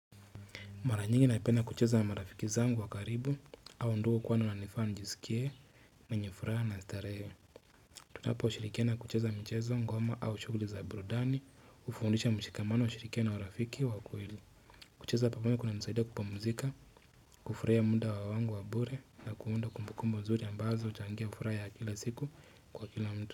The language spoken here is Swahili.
Mara nyingi naipenda kucheza na marafiki zangu wa karibu hao ndio hukuwa wanifan njisikie mwenye furaha na starehe Tunaposhirikiana kucheza michezo ngoma au shuguli za burudani ufundisha mshikamano ushirikiano wa rafiki wa kweli kucheza pia huwa kunanisaida kupamuzika, kufurahia muda wangu wa bure na kuunda kumbukumbu nzuri ambazo huchangia furaha ya kila siku kwa kila mtu.